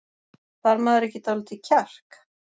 Þarf maður ekki dálítið kjark?